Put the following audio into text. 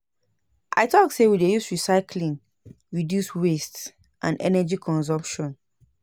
I tok sey we dey use recyclying reduce waste and energy consumption.